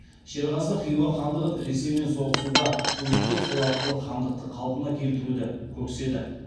шерғазы хиуа хандығын ресеймен соғысуға үгіттеп сол арқылы хандықты қалпына келтіруді көкседі